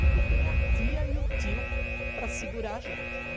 Porque tem a tia e o tio para segurar a gente, né?